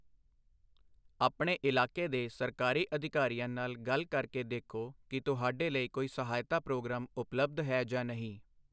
ਆਪਣੇ ਇਲਾਕੇ ਦੇ ਸਰਕਾਰੀ ਅਧਿਕਾਰੀਆਂ ਨਾਲ ਗੱਲ ਕਰ ਕੇ ਦੇਖੋ ਕਿ ਤੁਹਾਡੇ ਲਈ ਕੋਈ ਸਹਾਇਤਾ ਪ੍ਰੋਗਰਾਮ ਉਪਲਬਧ ਹੈ ਜਾਂ ਨਹੀਂ।